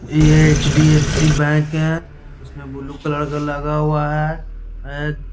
ये HDFC. Bank है उसमें बुलू कलर का लगा हुआ है ए --